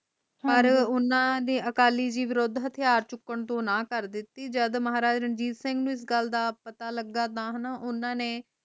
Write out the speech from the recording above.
ਪਾਰ ਓਹਨਾ ਨੇ ਅਕਾਲੀ ਜੀ ਵਿਰੁੱਧ ਹਥਿਆਰ ਚੁੱਕਣ ਤੋਂ ਨਾ ਕਰਤੀ ਜਦ ਮਹਾਰਾਜਾ ਰਣਜੀਤ ਸਿੰਘ ਨੂੰ ਇਸ ਗੱਲ ਦਾ ਪਤਾ ਲਗਾ ਤਾ ਓਹਨਾ ਨੇ